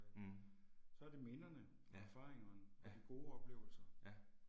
Mh. Ja. Ja. Ja